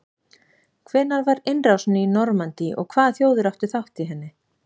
hvenær var innrásin í normandí og hvaða þjóðir áttu þátt í henni